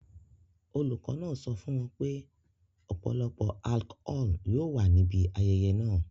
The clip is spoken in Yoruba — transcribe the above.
Olùkọ́ náà sọ fún wọn pé ọ̀pọ̀lọpọ̀ alchol yóò wà níbi ayẹyẹ náà.